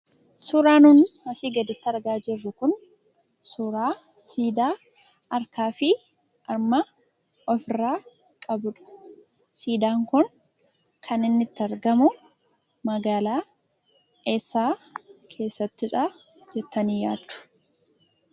Suuraan nun asii gaditti argaa jirru kun suuraa siidaa harkaa fi harma ofirrraa qabudha. Siidaan kun kan inni itti argamu magaalaa eessaa keessattidhaa jettanii yaaddu?